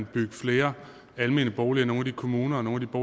bygge flere almene boliger i nogle af de kommuner og nogle af